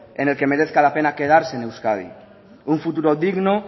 en el que merezca la pena quedarse en euskadi un futuro digno